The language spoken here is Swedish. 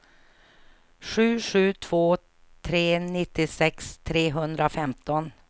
sju sju två tre nittiosex trehundrafemton